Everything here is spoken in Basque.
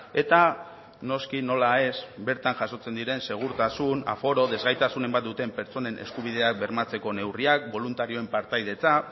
eta noski nola ez bertan jasotzen diren segurtasun aforo desgaitasunen bat duten pertsonen eskubideak bermatzeko neurriak boluntarioen partaidetza